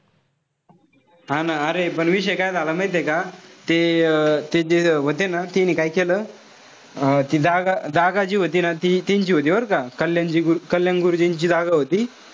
हा ना अरे पण विषय काय झाला माहितीये का? ते अं ते जे व्हते ना ते काय केलं. अं ती जागा जागा जी व्हती ना ती तींची होती बरं का. कल्याणजी कल्याण गुरुजींची जागा होती.